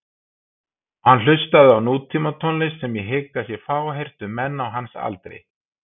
Hann hlustaði á nútímatónlist sem ég hygg að sé fáheyrt um menn á hans aldri.